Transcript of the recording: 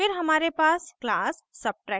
फिर हमारे पास class subtraction है